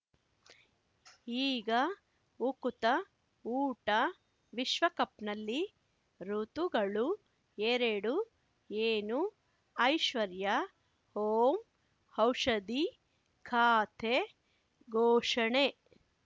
ಈಗ ಉಕುತ ಊಟ ವಿಶ್ವಕಪ್‌ನಲ್ಲಿ ಋತುಗಳು ಎರಡು ಏನು ಐಶ್ವರ್ಯಾ ಓಂ ಔಷಧಿ ಖಾತೆ ಘೋಷಣೆ